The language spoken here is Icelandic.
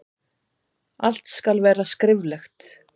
Allt skal vera skriflegt.